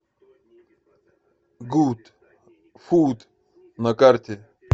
гуд фуд на карте